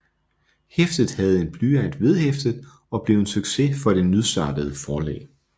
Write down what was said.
Hæftet havde en blyant vedhæftet og blev en succes for det nystartede forlag